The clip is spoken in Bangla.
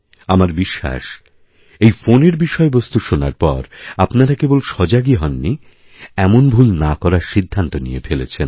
আমার বিশ্বাসএই ফোনের বিষয়বস্তু শোনার পর আপনারা কেবল সজাগই হননি এমন ভুল না করার সিদ্ধান্তনিয়ে ফেলেছেন